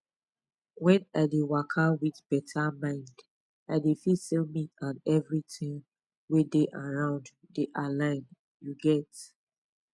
wen i dey waka with better mind i dey feel say me and everything wey dey around dey align you get